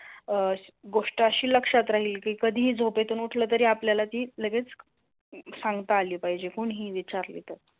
अं गोष्ट अशी लक्षात राहील की कधीही झोपेतून उठला तरी आपल्याला ती लगेच सांगता आली पाहेजे कुणीही विचारली तर.